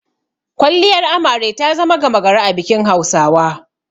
Kwalliyar Amare ta zama gama gari a bikin Hausawa.